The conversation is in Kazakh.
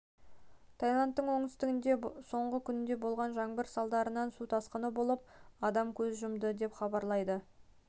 таиландтың оңтүстігінде соңғы күнде болған жаңбыр салдарынан су тасқыны болып адам көз жұмды деп хабарлайды новости